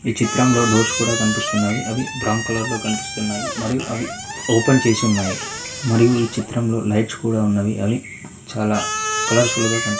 ఈ చిత్రంలో డోర్స్ కూడా కనిపిస్తున్నవి అవి బ్రౌన్ కలర్ లో కనిపిస్తున్నాయి మరియు అవి ఓపెన్ చేసి ఉన్నాయి మరియు ఈ చిత్రంలో లైట్స్ కూడా ఉన్నవి అవి చాలా కలర్ ఫుల్ గా కనిపి--